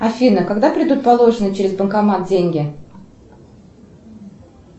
афина когда придут положенные через банкомат деньги